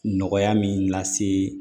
Nɔgɔya min lase